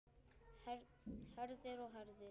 Herðir og herðir.